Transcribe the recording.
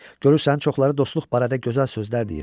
Görürsən, çoxları dostluq barədə gözəl sözlər deyir.